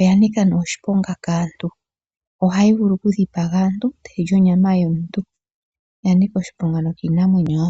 Oya nika oshiponga kaantu. Ohayi vulu okudhipaga omuntu e tayi li onyama yomuntu. Oya nika oshiponga nokiinamwenyo wo.